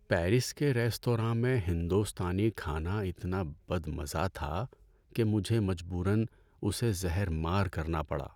Paris کے ریستوراں میں ہندوستانی کھانا اتنا بدمزہ تھا کہ مجھے مجبوراً اسے زہر مار کرنا پڑا۔